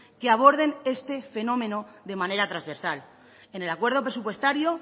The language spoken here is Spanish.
que aborden este fenómeno de manera transversal en el acuerdo presupuestario